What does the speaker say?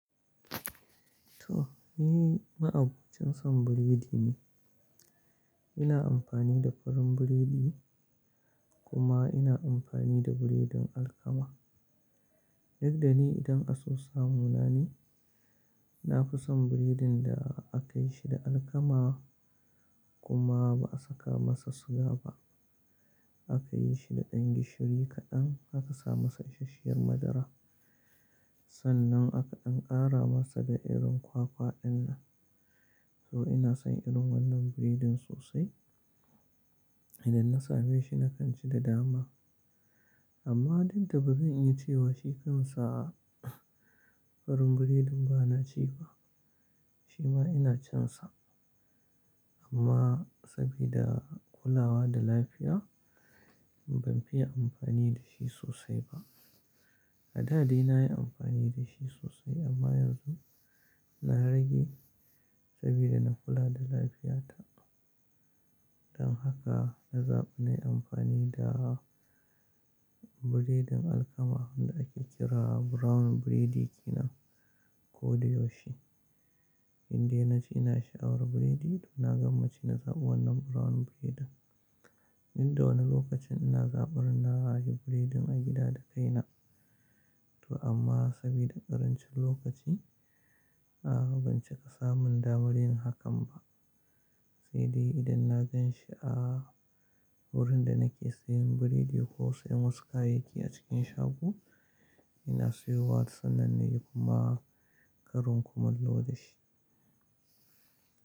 To, ni ma'abocin son burodi ne. Ina amfani da farin burodi kuma ina amfani da burodin alkama. Duk da ni idan a so samu na ne, na fi son burodin da aka yi shi da alkama kuma ba a saka masa suga ba. Aka yi shi da ɗan gishiri kaɗan, aka sa masa ishashiyar madara. Sannan aka ɗan ƙara masa da irin kwakwa ɗin nan. To ina son irin wannan burodin sosai. Idan na same shi na kan ci da dama. Amma dik da bazan iya cewa shi kansa farin burodin ba na ci ba. Shi ma ina cin sa amma saboda kulawa da lafiya ban fiye amfani da shi sosai ba. A daa dai na yi amfani da shi sosai amma yanzu na rage saboda na kula da lafiyata. Don haka na zaɓi na yi amfani da burodin alkama da ake kira brown burodi kenan ko da yaushe. Indai na ji ina sha'awar burodi, to na gwammaci na zaɓi wannan brown burodin. Duk da wani lokacin ina zaɓar na yi burodin a gida da kaina. To amma saboda ƙarancin lokaci, a'a ban cika samun damar yin hakan ba. Sai dai idan na gan shi a wurin da nake siyan burodi ko siyan wasu kayayyaki a cikin shago, ina siyowa sannan nayi kuma karin kumalo da shi.